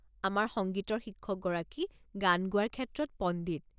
আমাৰ সংগীতৰ শিক্ষকগৰাকী গান গোৱাৰ ক্ষেত্ৰত পণ্ডিত।